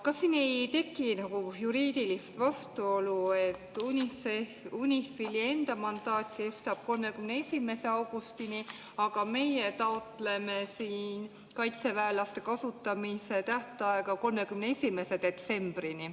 Kas siin ei teki nagu juriidilist vastuolu, et UNIFIL-i enda mandaat kestab 31. augustini, aga meie taotleme kaitseväelase kasutamise tähtaega 31. detsember?